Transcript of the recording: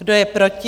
Kdo je proti?